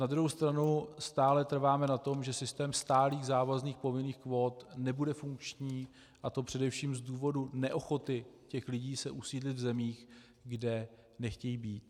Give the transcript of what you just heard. Na druhou stranu stále trváme na tom, že systém stálých závazných povinných kvót nebude funkční, a to především z důvodu neochoty těch lidí se usídlit v zemích, kde nechtějí být.